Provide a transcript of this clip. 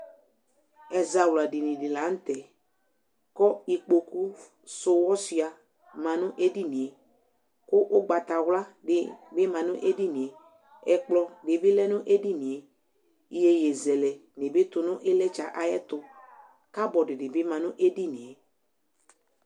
Ɛzawladɩŋɩ di lanutɛ, ƙʊ ɩƙpoƙʊfʊƴɔsʊa ma ŋʊ edinie kʊ ʊgbatawla dibi ma ŋʊ edinie, ɛƙplɔ dibi lɛ ŋʊ edinie Ɩyoyɩ zɛlɛ tʊŋʊ ɩƴlɩtsɛ aƴɛtʊ, Kaɓɔrd dibi ma ŋʊ edinie